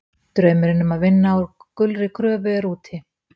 Draumurinn um að vinna á gulri gröfu er úti.